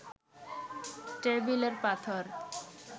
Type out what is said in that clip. টেবিলের পাথর